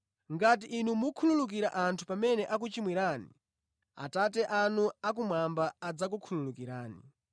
Ngati inu mukhululukira anthu pamene akuchimwirani, Atate anu akumwamba adzakukhululukirani.